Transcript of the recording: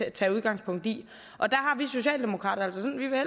at tage udgangspunkt i vi socialdemokrater